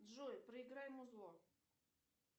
джой проиграй музло